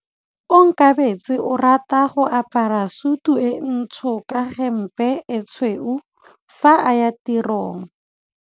Onkabetse o rata go apara sutu e ntsho ka hempe e tshweu fa a ya tirong.